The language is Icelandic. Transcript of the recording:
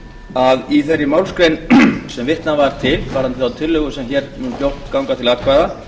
að í þeirri málsgrein sem vitnað var til varðandi þá tillögu sem hér mun fljótt ganga til atkvæða